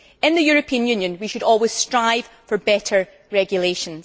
In the European Union, we should always strive for better regulation.